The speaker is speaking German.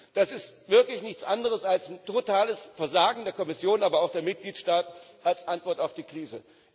Das ist wirklich nichts anderes als totales Versagen der Kommission, aber auch der Mitgliedstaaten als Antwort auf die Krise.